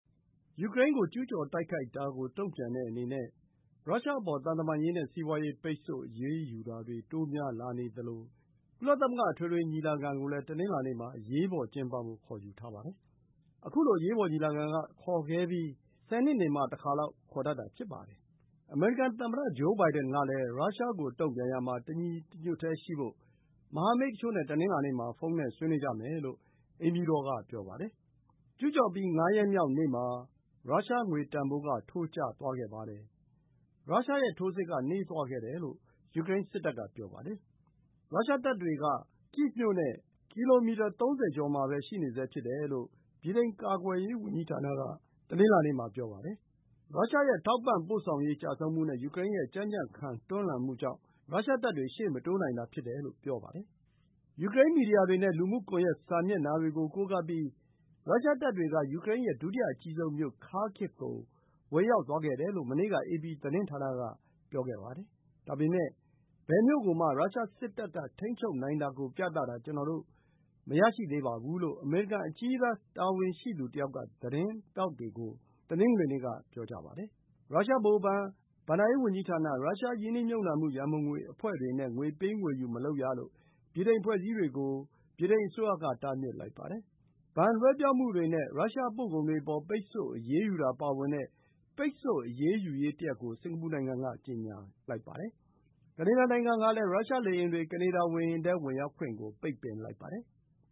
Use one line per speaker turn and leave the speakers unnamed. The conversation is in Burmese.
ယူကရိန်းကို ကျူးကျော်တိုက်ခိုက်တာ တုံ့ပြန်တဲ့အနေနဲ့ ရုရှားအပေါ် သံတမန်ရေးနဲ့ စီးပွါးရေးပိတ်ဆို့အရေးယူတာတွေ တိုးများလာနေသလို ကုလသမဂ္ဂ အထွေထွေညီလာခံကိုလည်း တနင်္လာနေ့မှာ ကျင်းပဖို့ ခေါ်ယူထားပါတယ်။ အမေရိကန်သမ္မတ ဂျိုးဘိုင်ဒန်ကလည်း ရုရှားကို တုံ့ပြန်ရာမှာ တညီတညွတ်တည်းရှိဖို့ မဟာမိတ်တချို့နဲ့ တနင်္လာနေ့မှာ ဖုန်းနဲ့ ဆွေးနွေးကြမယ်လို့ အိမ်ဖြူတော်က ပြောပါတယ်။ ကျူးကျော်ပြီး ငါးရက်မြောက်နေ့မှာ ရုရှားငွေတန်ဖိုးထိုးကျသွားပြီး ရုရှားရဲ့ ထိုးစစ်က နှေးသွားခဲ့တယ်လို့ ယူကရိန်းစစ်တပ်က ပြောပါတယ်။ ရုရှားတပ်တွေက ကိဗ်မြို့နဲ့ ကီလိုမီတာ ၃၀ ကျော်မှာပဲ ရှိနေဆဲဖြစ်တယ်လို့ ဗြိတိန်ကာကွယ်ရေးဝန်ကြီးဌာနက တနင်္လာနေ့မှာ ပြောပါတယ်။ ရုရှား ရဲ့ ထောက်ပံ့ပို့ဆောင်ရေး ကျဆုံးမှုနဲ့ ယူကရိန်းရဲ့ ကြံ့ကြံ့ခံ တွန်းလှန်မှုကြောင့် ရုရှားတပ်တွေ ရှေ့မတိုးနိုင်တာ ဖြစ်တယ်လို့ဆိုပါတယ်။ ယူကရိန်းမီဒီယာတွေနဲ့ လူမှုကွန်ယက်စာမျက်နှာတွေကို ကိုးကားပြီး ရုရှား တပ်တွေက ယူကရိန်းရဲ့ဒုတိယအကြီးဆုံးမြို့ Kharkiv ကို ဝင်ရောက်သွားခဲ့တယ်လို့ မနေ့က အေပီသတင်းဌာနက ပြောပါတယ်။ ဒါပေမယ့် “ဘယ်မြို့ ကိုမှ ရုရှားစစ်တပ်က ထိန်းချုပ်နိုင်တာကို ပြတာ ကျနော်တို့ မရရှိသေးဘူး။” လို့ အမေရိကန် အကြီးတန်း တာဝန်ရှိသူတယောက်က သတင်းထောက်တွေကို တနင်္ဂနွေနေ့က ပြောပါတယ်။ ရုရှားဗဟိုဘဏ်၊ ဘဏ္ဍာရေး ဝန်ကြီးဌာန၊ ရုရှားရင်းနှီးမြှုပ်နှံမှု ရံပုံငွေ အဖွဲ့တွေနဲ့ ငွေပေးငွေယူ မလုပ်ရ-လို့ ဗြိတိန်အဖွဲ့အစည်းတွေကို ဗြိတိန်အစိုးရ က တားမြစ်လိုက်ပါတယ်။ ဘဏ် လွှဲပြောင်းမှုတွေ နဲ့ ရုရှားပို့ကုန်တွေ အပေါ် ပိတ်ဆို့ အရေးယူတာပါဝင်တဲ့ ပိတ်ဆို့အရေးယူရေးတရပ်ကို စင်္ကာပူ နိုင်ငံက ကြေညာလိုက်ပါတယ်။ ကနေဒါ နိုင်ငံကလည်း ရုရှား လေယာဉ်တွေ ကနေဒါ ဝေဟင်ထဲ ဝင်ရောက်ခွင့် ပိတ်ပင်လိုက်ပါတယ်။